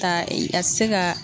Taa a tɛ se ka.